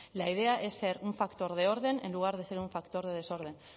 la idea es ser un factor de orden en lugar de ser un factor de desorden